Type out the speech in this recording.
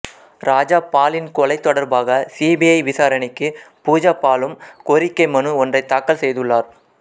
ராஜா பாலின் கொலை தொடர்பாக சிபிஐ விசாரணைக்கு பூஜா பாலும் கோரிக்கை மனு ஒன்றை தாக்கல் செய்துள்ளார்